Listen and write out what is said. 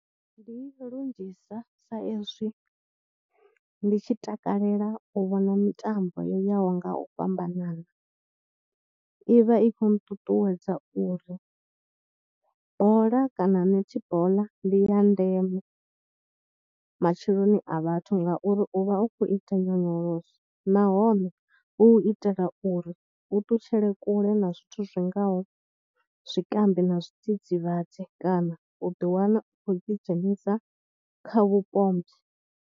Ndi lunzhisa sa ezwi ndi tshi takalela u vhona mitambo yo yaho nga u fhambanana i vha i khou nṱuṱuwedza uri bola kana netibola ndi ya ndeme matsheloni a vhathu ngauri u vha u khou ita nyonyoloso nahone hu itela uri u ṱutshele kule na zwithu zwingaho zwikambi na zwidzidzivhadzi kana u ḓiwana u khou ḓidzhenisa kha vhupombwe.